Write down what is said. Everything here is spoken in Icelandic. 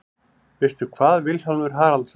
Veistu hvað, Vilhjálmur Haraldsson?